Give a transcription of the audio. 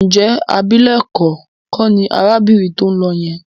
Ǹjẹ́ abilékọ kọ́ ni arábìnrin tó ń lọ yẹn?